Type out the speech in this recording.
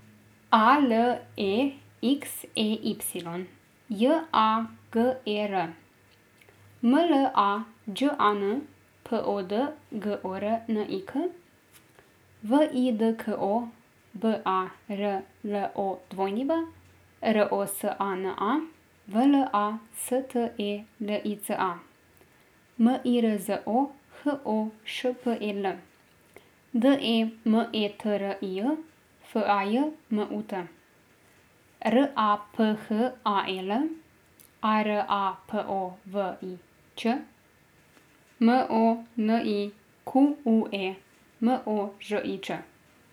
A L E X E Y, J A G E R; M L A Đ A N, P O D G O R N I K; V I D K O, B A R L O W; R O S A N A, V L A S T E L I C A; M I R Z O, H O Š P E L; D E M E T R I J, F A J M U T; R A P H A E L, A R A P O V I Ć; M O N I Q U E, M O Ž I Č.